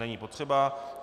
Není potřeba.